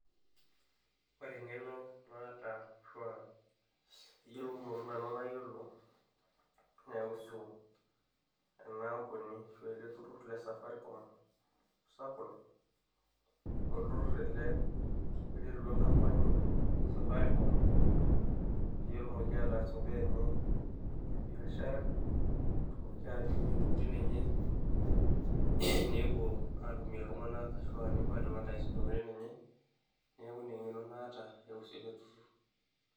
ore eng'eno naata ashu aa eyiolounoto nanu nayiolo naiusu ena ampuni ashua ele turrur le safaricom ashu sakol, olturrur ele oiterutua enkampani e safaricom peyie etumoki ataas imbaa enye e biashara netumoki atimirie intokitin enye nepuo atumie iltung'anak ashu aa nepuo ae advertise intokitin enye neeku ina eng'eno naata naiusu ele turrur.